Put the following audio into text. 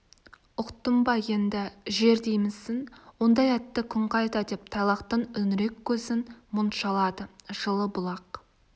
ұқтың ба енді жер деймісің ондай атты күн қайда деп тайлақтың үңірек көзін мұң шалады жылы-бұлақ